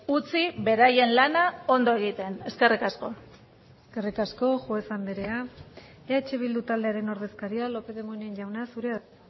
utzi beraien lana ondo egiten eskerrik asko eskerrik asko juez andrea eh bildu taldearen ordezkaria lópez de munain jauna zurea da